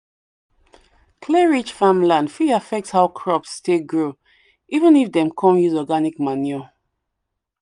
clay-rich farmland fit affect how crops take grow even if dem come use organic manure.